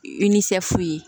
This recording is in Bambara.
I nisɔn fu ye